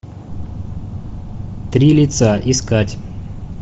три лица искать